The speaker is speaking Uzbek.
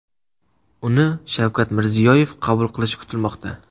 Uni Shavkat Mirziyoyev qabul qilishi kutilmoqda.